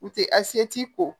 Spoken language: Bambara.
U tɛ a se t'i kɔ